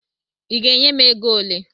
Ị ga-enye m ego ole?